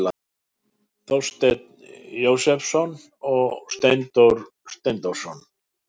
Þorsteinn Jósepsson og Steindór Steindórsson.